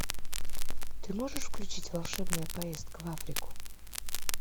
ты можешь включить волшебная поездка в африку